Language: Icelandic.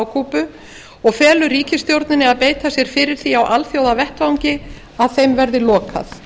kúbu og felur ríkisstjórninni að beita sér fyrir því á alþjóðavettvangi að þeim verði lokað